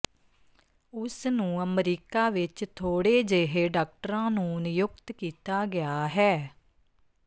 ਉਸ ਨੂੰ ਅਮਰੀਕਾ ਵਿਚ ਥੋੜੇ ਜਿਹੇ ਡਾਕਟਰਾਂ ਨੂੰ ਨਿਯੁਕਤ ਕੀਤਾ ਗਿਆ ਹੈ